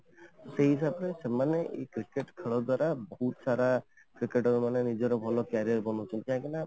ସେଇମାନେ ସେମାନ cricket ଖେଳ ଦ୍ୱାରା ବହୁତ ସାରା Cricket ମାନେ ନିଜର ଭଲ career ବନଉଛନ୍ତି କାହିଁକିନା